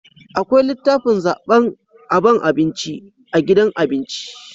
akwai litafin zaban aban abinci a gidajen abinci